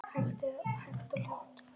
Hægt og hljótt.